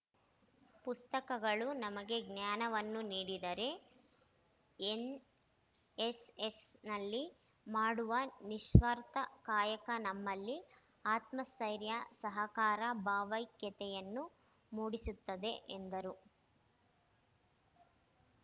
ಪುಸ್ತಕಗಳು ನಮಗೆ ಜ್ಞಾನವನ್ನು ನೀಡಿದರೆ ಎನ್‌ಎಸ್‌ಎಸ್‌ನಲ್ಲಿ ಮಾಡುವ ನಿಸ್ವಾರ್ಥ ಕಾಯಕ ನಮ್ಮಲ್ಲಿ ಆತ್ಮಸ್ಥೈರ್ಯ ಸಹಕಾರ ಭಾವೈಕ್ಯತೆಯನ್ನು ಮೂಡಿಸುತ್ತದೆ ಎಂದರು